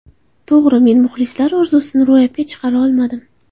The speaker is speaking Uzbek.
To‘g‘ri, men muxlislar orzusini ro‘yobga chiqara olmadim.